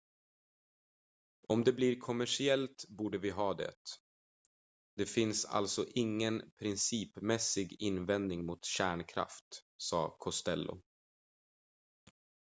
"""om det blir kommersiellt borde vi ha det. det finns alltså ingen principmässig invändning mot kärnkraft," sa costello.